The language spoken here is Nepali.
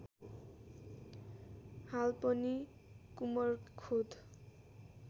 हाल पनि कुमरखोद